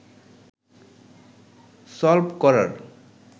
সলব করার